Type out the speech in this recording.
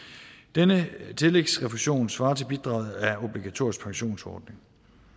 denne tillægsrefusion svarer til bidraget af obligatorisk pensionsordning